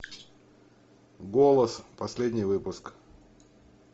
голос последний выпуск